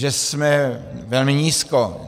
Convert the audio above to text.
Že jsme velmi nízko.